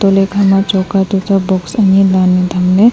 joli kha ma chokka tam cha box ani danle tham le.